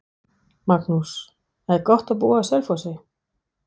Magnús: Er gott að búa á Selfossi?